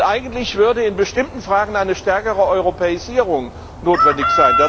Und eigentlich wäre in bestimmten Fragen eine stärkere Europäisierung notwendig.